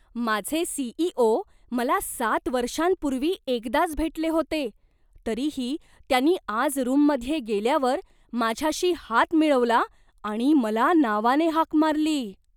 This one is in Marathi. माझे सी.ई.ओ. मला सात वर्षांपूर्वी एकदाच भेटले होते, तरीही त्यांनी आज रूममध्ये गेल्यावर माझ्याशी हात मिळवला आणि मला नावाने हाक मारली.